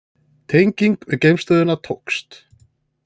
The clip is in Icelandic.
Tenging við geimstöðina tókst